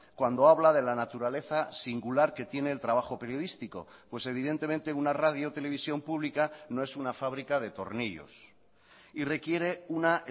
cuando habla de la naturaleza singular que tiene el trabajo periodístico pues evidentemente una radiotelevisión pública no es una fábrica de tornillos y requiere una